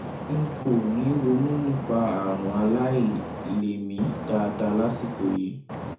n kò ní ronú nípa àrùn àìlèmí dáadáa lásìkò yìí